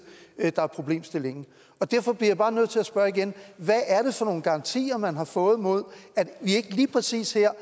der er problemet derfor bliver jeg bare nødt til at spørge igen hvad er det for nogle garantier man har fået mod at vi ikke lige præcis her